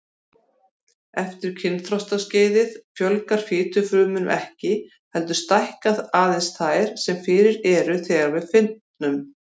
Eftir kynþroskaskeiðið fjölgar fitufrumum ekki, heldur stækka aðeins þær sem fyrir eru þegar við fitnum.